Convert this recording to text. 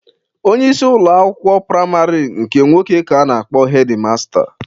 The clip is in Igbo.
Onyeisi ụlọ akwụkwọ praịmarị nke nwoke ka a na-akpọ hedi masta.